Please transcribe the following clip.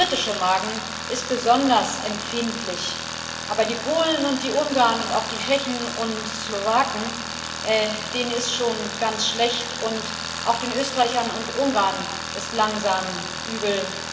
Der britische Magen ist besonders empfindlich, aber den Polen und den Ungarn und auch den Tschechen und Slowaken ist schon ganz schlecht, und auch den Österreichern und Ungarn ist langsam übel.